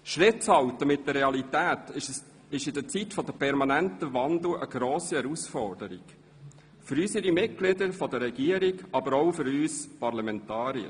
Schritt zu halten mit der Realität ist in dieser Zeit des permanenten Wandels eine grosse Herausforderung für unsere Regierungsmitglieder, aber auch für uns Parlamentarier.